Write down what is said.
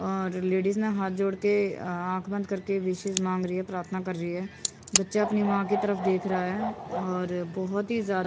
और लेडीज ने हाथ जोड़ के अह आंख बंद करके विशेष मांग रही है प्रार्थना कर रही है बच्चा अपनी मां की तरफ देख रहा है और बहुत ही ज्यादा --